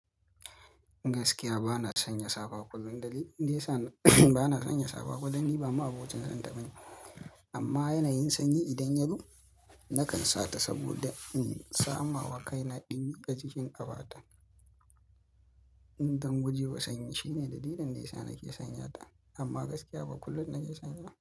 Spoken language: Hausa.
Gaskiya ba na sanya safa kullum. Dalilin da yasa, ba na sanya saba kullum ni, ba ma abocin san taɓa ne. Amma yanayin sanyi idan ya zo nakan sa ta saboda in sama wakai na ɗumi a cikin qafata. Dan guje wa sanyi shine dalilin ne nake sanya ta amma gaskiya ba kullum nake sanya ba.